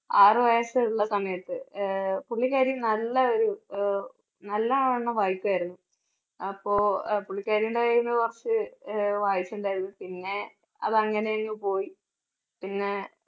ആറ് വയസ്സുള്ള സമയത്ത് ആഹ് പുള്ളിക്കാരി നല്ല ഒരു അഹ് നല്ലവണ്ണം വായിക്കുമായിരുന്നു അപ്പോ പുള്ളിക്കാരി ഉണ്ടായിരുന്ന കുറച്ച് അഹ് വായിച്ചിട്ടുണ്ടായിരുന്നു. പിന്നെ അത് അങ്ങനെയങ്ങ് പോയി പിന്നെ